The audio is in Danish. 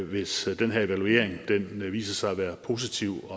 hvis den her evaluering viser sig at være positiv